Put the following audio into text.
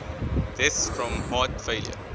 deaths from heart failure